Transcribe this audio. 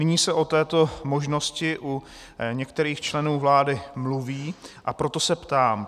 Nyní se o této možnosti u některých členů vlády mluví, a proto se ptám.